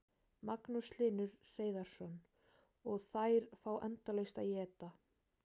Magnús Hlynur Hreiðarsson: Og þær fá endalaust að éta?